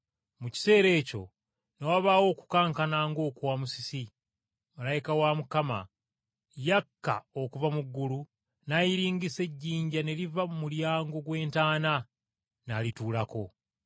Mu kiseera ekyo ne wabaawo okukankana ng’okwa musisi. Malayika wa Mukama yakka okuva mu ggulu n’ayiringisa ejjinja ne liva mu mulyango gw’entaana, n’alituulako.